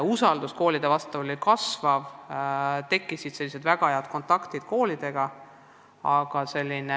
Aga usaldus kasvas, tekkisid väga head kontaktid koolidega.